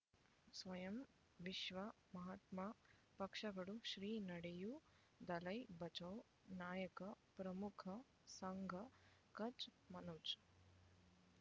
ಸ್ವಯಂ ವಿಶ್ವ ಮಹಾತ್ಮ ಪಕ್ಷಗಳು ಶ್ರೀ ನಡೆಯೂ ದಲೈ ಬಚೌ ನಾಯಕ ಪ್ರಮುಖ ಸಂಘ ಕಚ್ ಮನೋಜ್